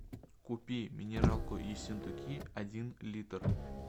купи минералку ессентуки один литр